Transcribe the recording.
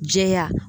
Jɛya